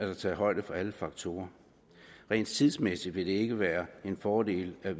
er taget højde for alle faktorer rent tidsmæssigt vil det ikke være en fordel at